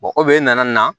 o b'e na na